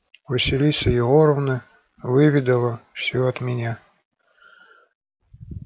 василиса егоровна выведала всё от меня